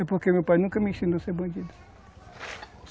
É porque meu pai nunca me ensinou a ser bandido.